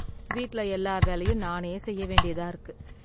வீட்ல எல்லா வேலையும் நானே செய்ய வேண்டியதற்கு.